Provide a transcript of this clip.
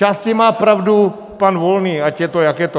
Zčásti má pravdu pan Volný, ať je to, jak je to.